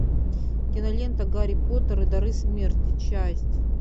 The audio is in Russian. кинолента гарри поттер и дары смерти часть